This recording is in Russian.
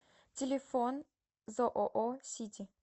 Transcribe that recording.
телефон зоо сити